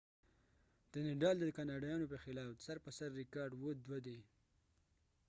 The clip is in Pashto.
د نډال nadal د کاناډایانو په خلاف سر په سر ریکارډ 2-7 دي